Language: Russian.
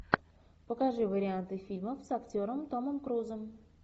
покажи варианты фильмов с актером томом крузом